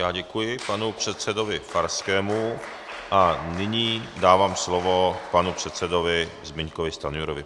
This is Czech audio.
Já děkuji panu předsedovi Farskému a nyní dávám slovo panu předsedovi Zbyňkovi Stanjurovi.